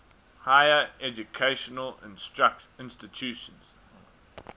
higher educational institutions